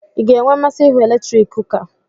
I ga-enwe mmasị ihu eletrik kuka?